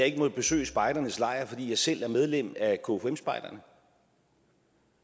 ikke må besøge spejdernes lejr fordi jeg selv er medlem af kfum spejderne